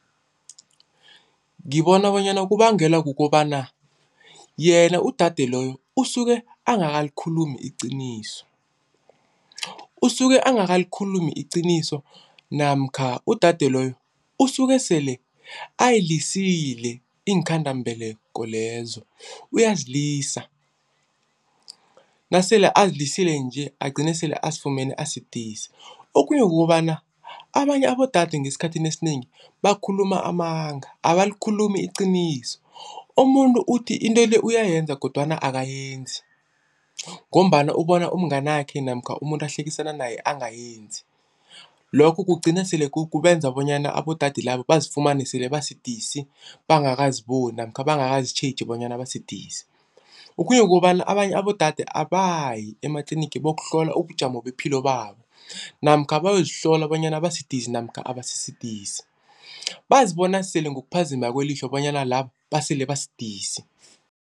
Ngibona bonyana kubangelwa kukobana yena udade loyo usuke angakalikhulumi iqiniso. Usuke angakalikhulumi iqiniso namkha udade loyo usuke sele ayilisile iinkhandelambeleko lezo uyazilisa. Nasele azilisile nje agcine sele azifumene asidisi, okhunye kukobana abanye abodade esikhathini esinengi bakhuluma amanga abalikhulumi iqiniso. Umuntu uthi into le uyayenza kodwana akayenzi ngombana ubona umnganakhe namkha umuntu ahlekisana naye angayenzi. Lokho kugcina sele kubenza bonyana abodade laba bazifumane sele basidisi, bangakaziboni namkha bangakazitjhegi bonyana basidisi. Okhunye kukobana abanye abodade abayi ematlinigi bayokuhlola ubujamo bepilo yabo namkha bayozihlola bonyana basidisi namkha abasisidisi bazibona sele ngokuphazima kwelihlo bonyana laba basele basidisi.